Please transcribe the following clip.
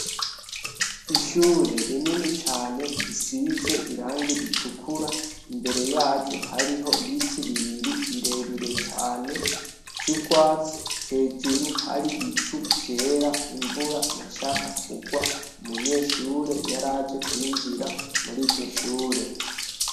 Ishure rinini cane risize irangi ritukura imbere yaryo hariho ibiti bibiri birebire cane vy'ugwatsi hejuru har'ibicu vyera imvura yashaka kugwa, umunyeshure yaraje kwinjira muri iryoshure.